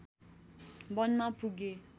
वनमा पुगे